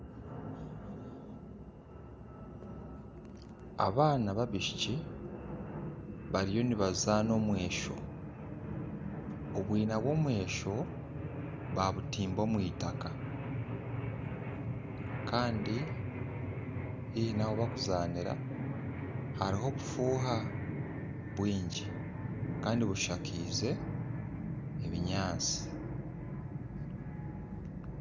Abaana babishiki bariyo nibazana omwesho , obwina bw'omwesho babutimba omw'itaka kandi haihi nahubarukuzanira haruho obufuha bwingi Kandi bushakize ebinyansi.